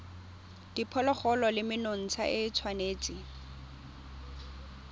diphologolo le menontsha e tshwanetse